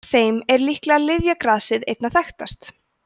af þeim er líklega lyfjagrasið einna þekktast